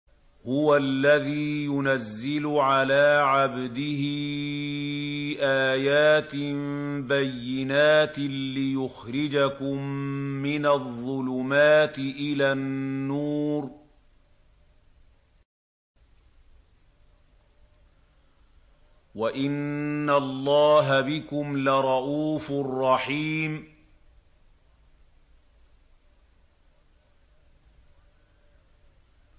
هُوَ الَّذِي يُنَزِّلُ عَلَىٰ عَبْدِهِ آيَاتٍ بَيِّنَاتٍ لِّيُخْرِجَكُم مِّنَ الظُّلُمَاتِ إِلَى النُّورِ ۚ وَإِنَّ اللَّهَ بِكُمْ لَرَءُوفٌ رَّحِيمٌ